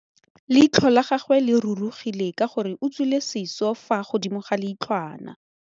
Leitlhô la gagwe le rurugile ka gore o tswile sisô fa godimo ga leitlhwana.